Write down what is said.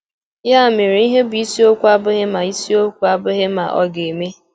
Yá mèrè, íhe bụ́ ísiokwú abụghị mà ísiokwú abụghị mà ọ̀ ga-émé.